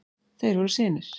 Þeir voru synir